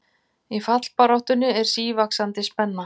Í fallbaráttunni er sívaxandi spenna